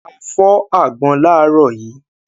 A fọ́ àgbọn láàárọ̀ yìí.